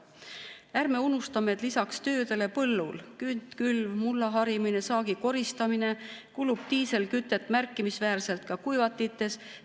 Ärme unustame, et lisaks töödele põllul – künd, külv, mullaharimine, saagikoristamine – kulub diislikütust märkimisväärselt ka kuivatites.